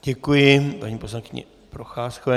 Děkuji paní poslankyni Procházkové.